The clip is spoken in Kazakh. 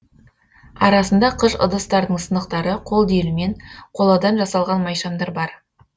арасында қыш ыдыстардың сынықтары қол диірмен қоладан жасалған майшамдар бар